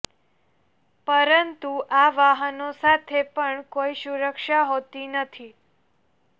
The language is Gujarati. પરંતુ આ વાહનો સાથે પણ કોઈ સુરક્ષા હોતી નથી